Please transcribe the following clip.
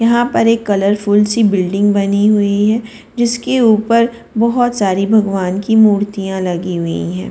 यहां पर एक कलरफुल सी बिल्डिंग बनी हुई है जिसके ऊपर बहुत सारी भगवान की मूर्तियां लगी हुई हैं।